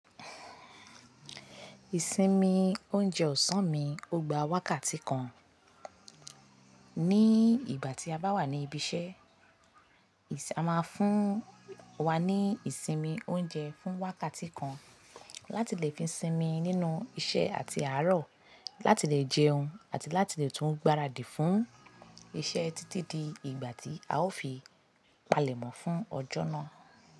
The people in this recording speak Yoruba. Ìsinmi oúnjẹ ọ̀sán mi ó gba wákàtí kan. Ní ìgbà tí a bá wà ní ibi iṣẹ́, a máa fún wa ní ìsinmi oúnjẹ fún wákàtí kan láti le fi sinmi nínú iṣẹ́ àti àárọ̀, láti le jẹun àti láti lè tún gbaradì fún iṣẹ́ títí di ìgbà tí a ó fi palẹ̀mọ́ fún ọjọ́ náà.